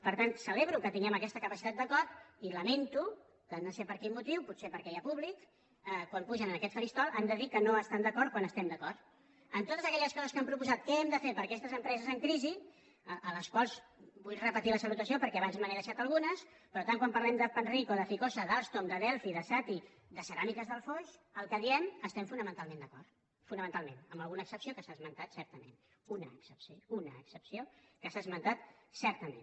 per tant celebro que tinguem aquesta capacitat d’acord i lamento que no sé per quin motiu potser perquè hi ha públic quan pugen en aquest faristol han de dir que no estan d’acord quan estem d’acord en totes aquelles coses que han proposat què hem de fer per a aquestes empreses en crisi a les quals vull repetir la salutació perquè abans me n’he deixat algunes per tant quan parlem de panrico de ficosa d’alstom de delphi de sati de ceràmiques del foix el que diem estem fonamentalment d’acord fonamentalment amb alguna excepció que s’ha esmentat certament una excepció una excepció que s’ha esmentat certament